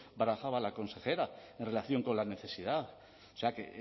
barajaba la consejera en relación con la necesidad o sea que